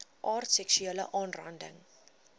aard seksuele aanranding